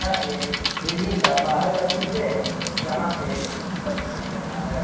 एक बिल्डिंग का बाहर का दृश्य है यहां पे एक कुत्ता दिखाई दे रहा है।